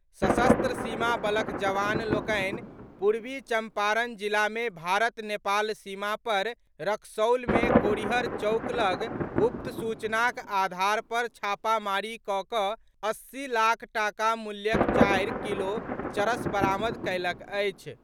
सशस्त्र सीमा बलक जवान लोकनि पूर्वी चम्पारण जिलामे भारत नेपाल सीमा पर रक्सौलमे कोरिहर चौक लग गुप्त सूचनाक आधार पर छापामारी कऽ कऽ अस्सी लाख टाका मूल्यक चारि किलो चरस बरामद कयलक अछि।